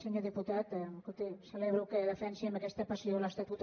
senyor diputat escolti celebro que defensi amb aquesta passió l’estatut